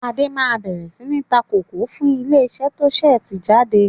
Adé máa bẹ̀rẹ̀ sini ta kòkó fún ilé isẹ́ to ń ṣe tíì jáde.